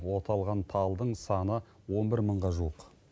оталған талдың саны он бір мыңға жуық